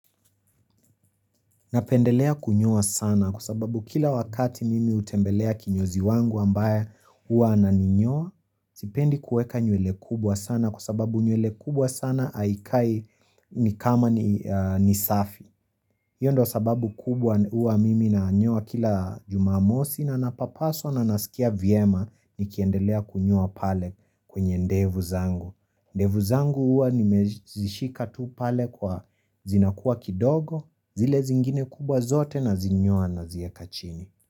Napendelea kunyoa sana kwa sababu kila wakati mimi utembelea kinyozi wangu ambaye hua ananinyoa, sipendi kueka nywele kubwa sana kwa sababu nywele kubwa sana haikai ni kama ni safi. Hiyo ndo sababu kubwa uwa mimi na nyoa kila jumamosi na napapaswa na nasikia viema ni kiendelea kunyoa pale kwenye ndevu zangu. Ndevu zangu uwa nimezishika tu pale kwa zinakua kidogo, zile zingine kubwa zote na zinyoa nazieka chini.